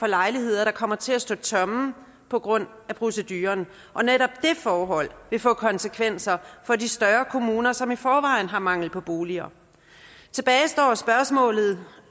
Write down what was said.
lejligheder der kommer til at stå tomme på grund af proceduren og netop det forhold vil få konsekvenser for de større kommuner som i forvejen har mangel på boliger tilbage står spørgsmålet